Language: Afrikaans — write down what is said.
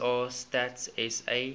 sa stats sa